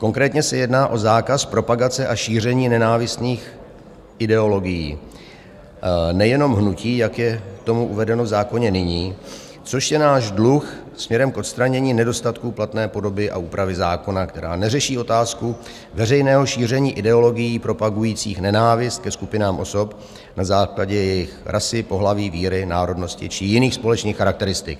Konkrétně se jedná o zákaz propagace a šíření nenávistných ideologií, nejenom hnutí, jak je tomu uvedeno v zákoně nyní, což je náš dluh směrem k odstranění nedostatků platné podoby a úpravy zákona, která neřeší otázku veřejného šíření ideologií propagujících nenávist ke skupinám osob na základě jejich rasy, pohlaví, víry, národnosti či jiných společných charakteristik.